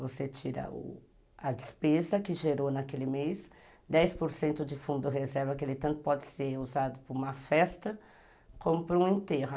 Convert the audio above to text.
Você tira a despesa que gerou naquele mês, dez por cento de fundo reserva, que ele tanto pode ser usado para uma festa como para um enterro.